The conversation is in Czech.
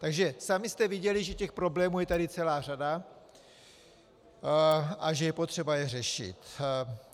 Takže sami jste viděli, že těch problémů je tady celá řada a že je potřeba je řešit.